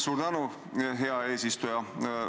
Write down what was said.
Suur tänu, hea eesistuja!